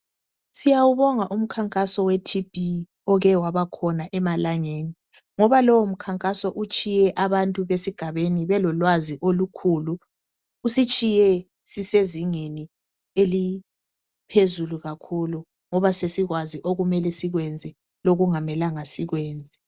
Siyabonga umkhankaso weTB oke wabakhona emalamgeni. Ngoba lowo mkhankaso belolwazi kakhulu. Usitshiye sisezingeni eliphezulu ngoba sesikwazi okumele sikwenze lokungamelanga sikwenze.